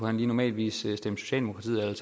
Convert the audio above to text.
han normalt ville stemme socialdemokratiet eller